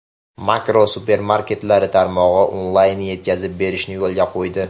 Makro supermarketlari tarmog‘i onlayn-yetkazib berishni yo‘lga qo‘ydi!.